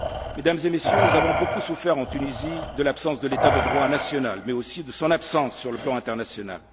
Mesdames et Messieurs, nous avons beaucoup souffert en Tunisie de l'absence de l'état de droit national mais aussi de son absence sur le plan international.